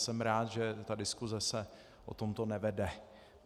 Jsem rád, že ta diskuse se o tomto nevede.